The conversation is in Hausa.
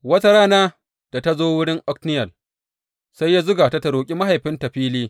Wata rana da ta zo wurin Otniyel, sai ya zuga ta ta roƙi mahaifinta fili.